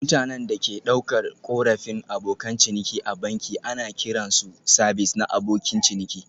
Mutanen da ke ɗaukar korafin Abokan ciniki a banki ana kiran su sabis na abokin ciniki